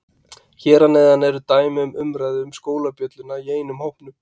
Hér að neðan er dæmi um umræðu um skólabjölluna í einum hópnum